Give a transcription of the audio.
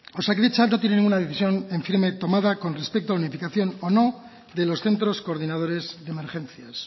osakidetza no tiene ninguna decisión en firme tomada con respecto a la unificación o no de los centros coordinares de emergencias